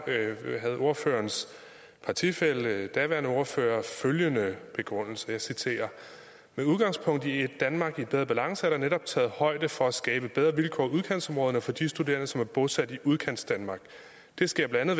havde ordførerens partifælle den daværende ordfører følgende begrundelse og jeg citerer med udgangspunkt i et danmark i bedre balance er der netop taget højde for at skabe bedre vilkår i udkantsområderne og for de studerende som er bosat i udkantsdanmark det sker blandt